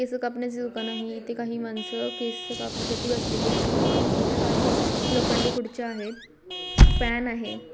केस कापण्याचे दुकान आहे येथे काही माणसं केस कापण्यासाठी बसलेले आहेत इथ काही लोखंडी खुर्च्या आहेत फॅन आहे.